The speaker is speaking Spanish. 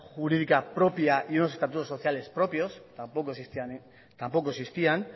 jurídica propia y unos estatutos sociales propios tampoco existían